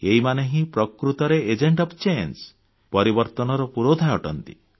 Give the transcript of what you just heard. ଏହିମାନେ ହିଁ ପ୍ରକୃତରେ agent of change ପରିବର୍ତ୍ତନର ପୁରୋଧା ଅଟନ୍ତି